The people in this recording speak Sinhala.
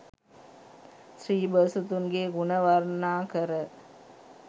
ශ්‍රී බෝසතුන්ගේ ගුණ වර්ණනාකර